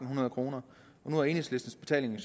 hundrede kroner nu er enhedslistens betaling